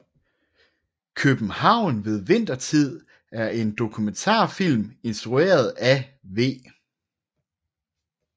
København ved Vintertid er en dokumentarfilm instrueret af V